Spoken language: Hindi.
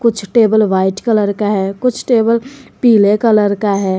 कुछ टेबल व्हाइट कलर का है कुछ टेबल पीले कलर का है।